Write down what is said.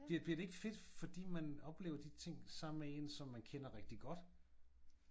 Bliver bliver det ikke fedt fordi man oplever de ting sammen med en som man kender rigtig godt?